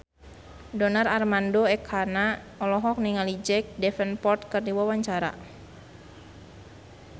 Donar Armando Ekana olohok ningali Jack Davenport keur diwawancara